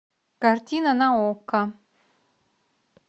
картина на окко